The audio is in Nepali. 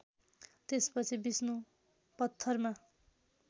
त्यसपछि विष्णु पत्थरमा